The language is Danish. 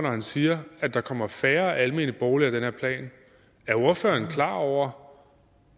han siger at der kommer færre almene boliger af den her plan er ordføreren klar over